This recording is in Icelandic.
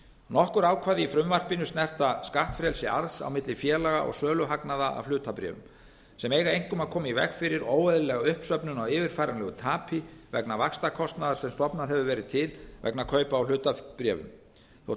nokkur ákvæði í frumvarpinu snerta skattfrelsi arðs á milli félaga og söluhagnaðar af hlutabréfum sem eiga einkum að koma í veg fyrir óeðlilega uppsöfnun á yfirfæranlegu tapi vegna vaxtakostnaðar sem stofnað hefur verið til vegna kaupa á hlutabréfum þótt